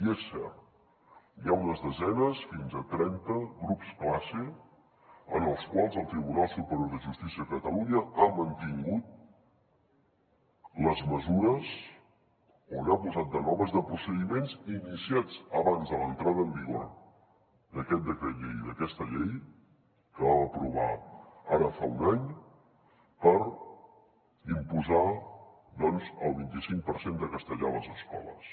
i és cert hi ha unes desenes fins a trenta grups classe en els quals el tribunal superior de justícia de catalunya ha mantingut les mesures o n’ha posat de noves de procediments iniciats abans de l’entrada en vigor d’aquest decret llei i d’aquesta llei que vam aprovar ara fa un any per imposar doncs el vint i cinc per cent de castellà a les escoles